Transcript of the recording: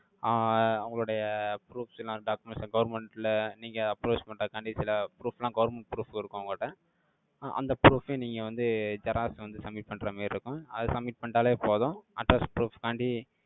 ஆஹ் அவங்களுடைய proofs எல்லாம், documents, government ல, நீங்க approach பண்றதுக்காண்டி, சில proof லாம் சில government proof இருக்கும், உங்கள்ட அஹ் அந்த proof ஐயும், நீங்க வந்து, xerox வந்து, submit பண்ற மாரி, இருக்கும். அதை, submit பண்ணிட்டாலே, போதும். Address proof க்காண்டி,